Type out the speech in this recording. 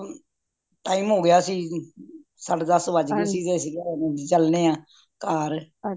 time ਹੋ ਗਯਾ ਸੀ ਸਾਡੇ ਦੱਸ ਵੱਜ ਗਏ ਸੀ ਤੇ ਅੱਸੀ ਕਿਆ ਚਲਣੇ ਆ ਘਰ